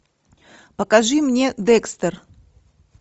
покажи мне декстер